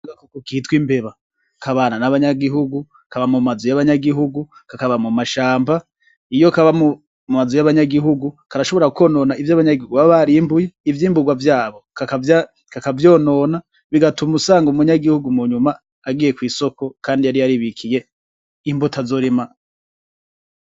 Agakoko kitwa imbeba kabana nabanyagihugu kakaba no mumazu yabo ndetse no mumashamba iyo kaba mubantu karashobora kwonona ivyimbugwa vyabo, ivyo baba barimbuye bigatuma umuntu agenda kwisoko kandi yari yaribikiye imbuto azorima.